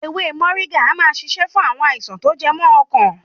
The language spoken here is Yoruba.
Ewé Mọ̀ríngà a máa ṣiṣẹ́ fún àwọn àìsàn tó jẹ mọ́ ọkàn.